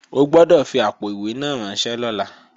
O gbọ́dọ̀ fi àpò-ìwé náà ránṣẹ́ lọ́la!